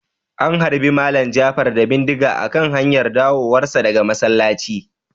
An harbe Malam Jafar da bindiga a kan hanyar dawowar sa daga masallaci